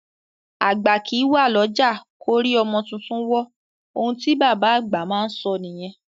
Àgbà kìí wà l'ọ́jà k'órí ọmọ tuntun wọ́; oun tí bàbá àgbà má a sọ nìyẹn.